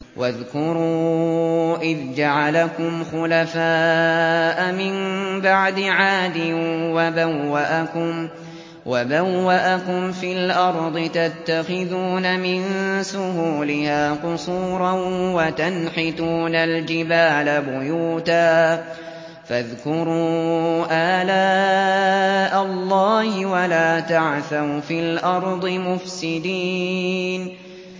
وَاذْكُرُوا إِذْ جَعَلَكُمْ خُلَفَاءَ مِن بَعْدِ عَادٍ وَبَوَّأَكُمْ فِي الْأَرْضِ تَتَّخِذُونَ مِن سُهُولِهَا قُصُورًا وَتَنْحِتُونَ الْجِبَالَ بُيُوتًا ۖ فَاذْكُرُوا آلَاءَ اللَّهِ وَلَا تَعْثَوْا فِي الْأَرْضِ مُفْسِدِينَ